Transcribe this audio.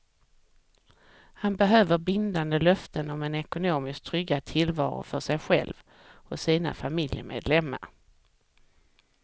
Han behöver bindande löften om en ekonomiskt tryggad tillvaro för sig själv och sina familjemedlemmar.